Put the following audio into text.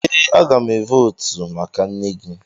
Ee, a ga m votu maka nne gị.